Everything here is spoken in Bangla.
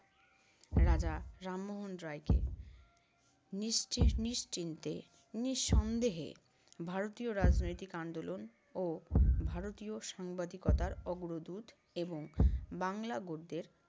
রাজা রামমোহন রায়কে নিশ্চি~ নিশ্চিন্তে নিঃসন্দেহে ভারতীয় রাজনৈতিক আন্দোলন ও ভারতীয় সাংবাদিকতার অগ্রদূত এবং বাংলা গদ্যের